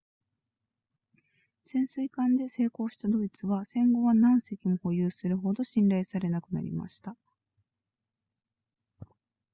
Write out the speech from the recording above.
潜水艦で成功したドイツは戦後は何隻も保有するほど信頼されなくなりました